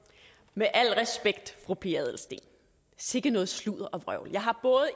med al respekt fru pia adelsteen sikke noget sludder og vrøvl jeg har